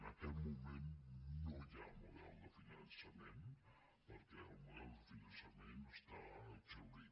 en aquest moment no hi ha model de finançament perquè el model de finançament està exhaurit